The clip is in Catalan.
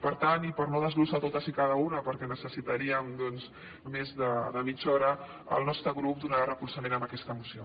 per tant i per no desglossar les totes i cada una perquè necessitaríem doncs més de mitja hora el nostre grup donarà recolzament a aquesta moció